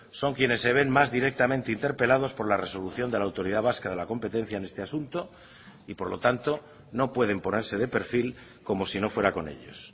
son quienes se ven más directamente interpelados por la resolución de la autoridad vasca de la competencia en este asunto y por lo tanto no pueden ponerse de perfil como si no fuera con ellos